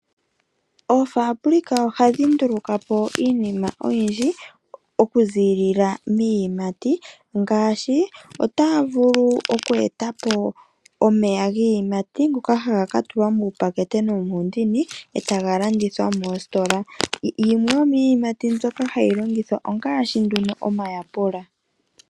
Oofambulika ohadhi ndulukapo iinima oyindji okuziilila miiyimati ngaashi: otaya vulu oku etapo omeya giiyimati ngoka ha ga katulwa muupakete nomuundini etagalandithwa moositola, yimwe yomiiyimati mbyoka hayi landithwa ongaashi omayapula.